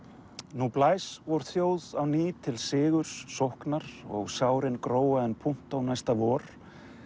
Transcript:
nú blæs vor þjóð á ný til sigurs sóknar og sárin gróa en punto næsta vor